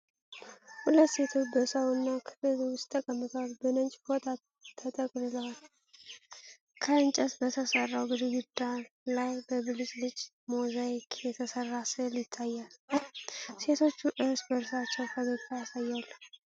ሁለት ሴቶች በሳውና ክፍል ውስጥ ተቀምጠዋል፣ በነጭ ፎጣ ተጠቅልለዋል። ከእንጨት በተሰራው ግድግዳ ላይ በብልጭልጭ ሞዛይክ የተሰራ ሥዕል ይታያል። ሴቶቹ እርስ በእርሳቸው ፈገግታ ያሳያሉ።